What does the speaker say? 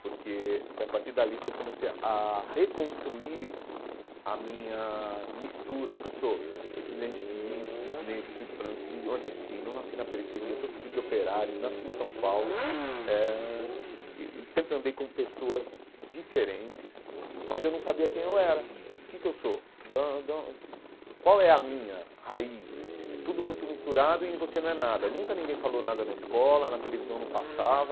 porque foi a partir dali que eu comecei a reconstruir a minha mistura, porque eu sou descendente de índio, de negro, de branco, de de nordestino, não nasci na periferia, sou filho de operários, nasci em São Paulo eh ãh e e sempre andei com pessoas diferentes, mas eu não sabia quem eu era, o que que eu sou, qual é a minha raiz, é tudo muito misturado e você não é nada, nunca ninguém falou nada na escola, na televisão não passava,